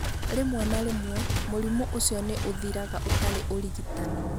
Rĩmwe na rĩmwe, mũrimũ ũcio nĩ ũthiraga ũtarĩ ũrigitani.